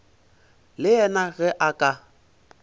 le yena ge a ka